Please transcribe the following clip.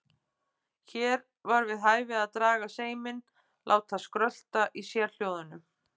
Hér var við hæfi að draga seiminn, láta skrölta í sérhljóðunum.